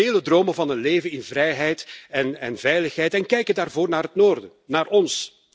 Velen dromen van een leven in vrijheid en veiligheid en kijken daarvoor naar het noorden, naar ons.